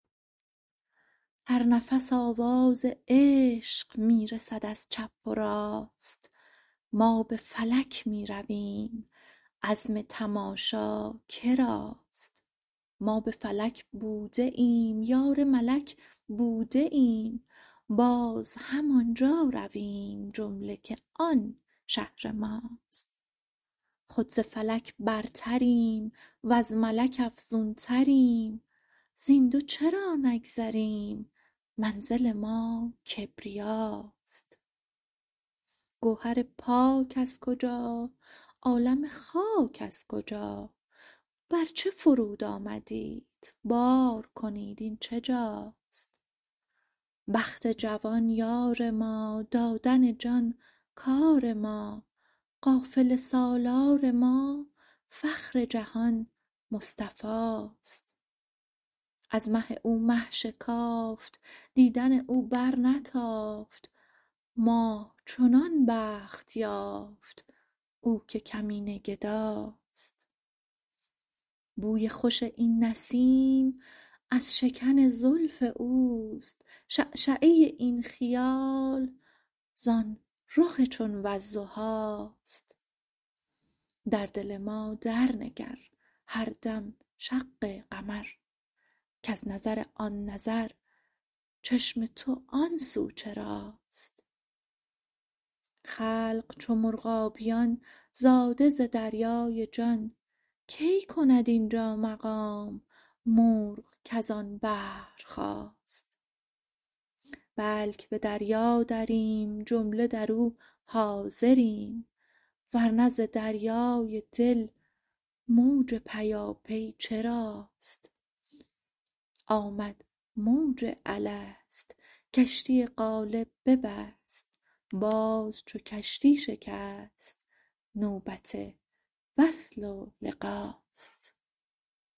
هر نفس آواز عشق می رسد از چپ و راست ما به فلک می رویم عزم تماشا که راست ما به فلک بوده ایم یار ملک بوده ایم باز همان جا رویم جمله که آن شهر ماست خود ز فلک برتریم وز ملک افزونتریم زین دو چرا نگذریم منزل ما کبریاست گوهر پاک از کجا عالم خاک از کجا بر چه فرود آمدیت بار کنید این چه جاست بخت جوان یار ما دادن جان کار ما قافله سالار ما فخر جهان مصطفاست از مه او مه شکافت دیدن او برنتافت ماه چنان بخت یافت او که کمینه گداست بوی خوش این نسیم از شکن زلف اوست شعشعه این خیال زان رخ چون والضحاست در دل ما درنگر هر دم شق قمر کز نظر آن نظر چشم تو آن سو چراست خلق چو مرغابیان زاده ز دریای جان کی کند این جا مقام مرغ کز آن بحر خاست بلک به دریا دریم جمله در او حاضریم ور نه ز دریای دل موج پیاپی چراست آمد موج الست کشتی قالب ببست باز چو کشتی شکست نوبت وصل و لقاست